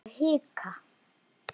Ég hika.